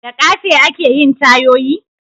Da ƙafe ake yin tayoyi?